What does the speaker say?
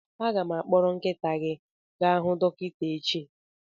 Aga m akpọrọ nkịta gị gaa hu dọkịta echi